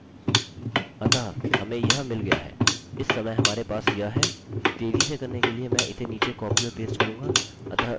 अतः हमें यह मिल गया है इस समय हमारे पास यह है तेज़ी से करने के लिए मैं इसे नीचे कॉपी और पेस्ट करूँगा